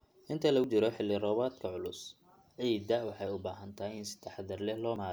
Inta lagu jiro roobabka culus, ciidda waxay u baahan tahay in si taxadar leh loo maareeyo.